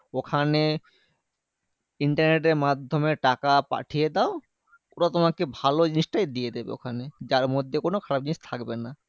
ওখানে internet এর মাধ্যমে টাকা পাঠিয়ে দাও, ওরা তোমাকে ভালো জিনিসটাই দিয়ে দেবে ওখানে। যার মধ্যে কোনো খারাপ জিনিস থাকবে না।